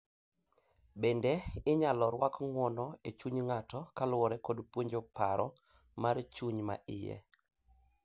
Bende, inyalo rwak ng'uono e chuny ng'ato koluwore kod puonjo paro mar chuny ma iye.